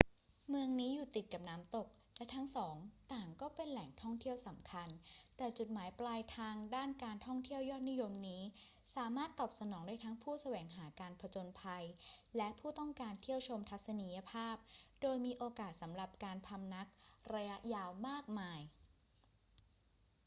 เมืองนี้อยู่ติดกับน้ำตก และทั้งสองต่างก็เป็นแหล่งท่องเที่ยวสำคัญ แต่จุดหมายปลายทางด้านการท่องเที่ยวยอดนิยมนี้สามารถตอบสนองได้ทั้งผู้แสวงหาการผจญภัยและผู้ต้องการเที่ยวชมทัศนียภาพ โดยมีโอกาสสำหรับการพำนักระยะยาวมากมาย